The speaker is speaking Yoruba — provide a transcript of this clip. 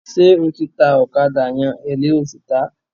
Ṣé o ti ta ọ̀kádà yẹn, èló lo sì tàá?